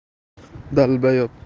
долбаёб